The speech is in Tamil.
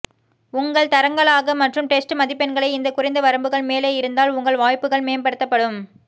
உங்கள் தரங்களாக மற்றும் டெஸ்ட் மதிப்பெண்களை இந்த குறைந்த வரம்புகள் மேலே இருந்தால் உங்கள் வாய்ப்புகள் மேம்படுத்தப்படும்